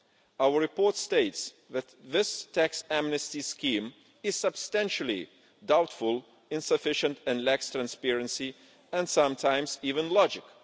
Our report states that this tax amnesty scheme is substantially doubtful, insufficient and lacks transparency and sometimes even logic.